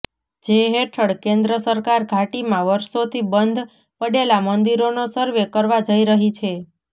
જે હેઠળ કેન્દ્ર સરકાર ઘાટીમાં વર્ષોથી બંધ પડેલા મંદિરોનો સર્વે કરવા જઈ રહી છે